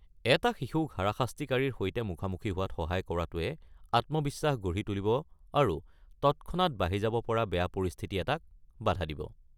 এটা শিশুক হাৰাশাস্তিকাৰীৰ সৈতে মুখামুখি হোৱাত সহায় কৰাতোৱে আত্মবিশ্বাস গঢ়ি তুলিব আৰু তৎক্ষণাত বাঢ়ি যাব পৰা বেয়া পৰিস্থিতি এটাক বাধা দিব।